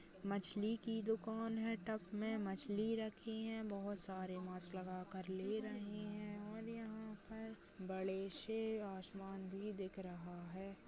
मछली की दुकान है टब में मछली रखी है बहोत सारे मास्क लगा कर ले रहे हैं और यहाँ पर बड़े से आसमान भी दिख रहा है।